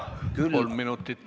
Kolm lisaminutit.